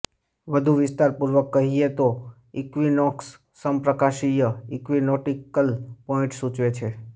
વધુ વિસ્તારપૂર્વક કહીએ તો ઇક્વિનોક્સ સમપ્રકાશીય ઇક્વિનોટિકલ પોઇન્ટ સૂચવે છે